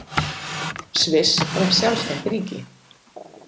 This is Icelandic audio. Sviss varð sjálfstætt ríki.